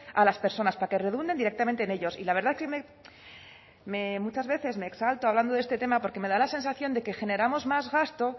a las personas para que redunden directamente en ellos y la verdad que muchas veces me exalto hablando de este tema porque me da la sensación de que generamos más gasto